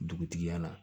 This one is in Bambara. Dugutigi yan na